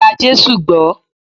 Gba Jésù gbó!